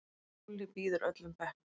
Lúlli býður öllum bekknum.